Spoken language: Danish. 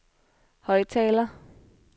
højttaler